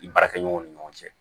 I baarakɛɲɔgɔnw ni ɲɔgɔn cɛ